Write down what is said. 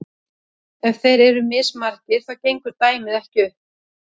ef þeir eru mismargir þá gengur dæmið ekki upp